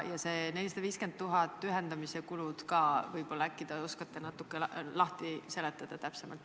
Ja see 450 000 eurot ühendamise kulud ka – äkki te oskate natuke lahti seletada?